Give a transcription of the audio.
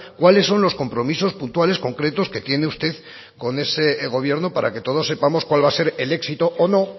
cuáles son los compromisos puntuales concretos que tiene usted con ese gobierno para que todos sepamos cuál va a ser el éxito o no